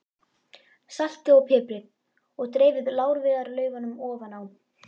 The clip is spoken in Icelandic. Saltið og piprið og dreifið lárviðarlaufunum ofan á.